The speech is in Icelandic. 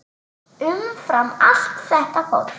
Umfram allt þetta fólk.